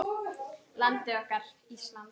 Landið okkar, Ísland.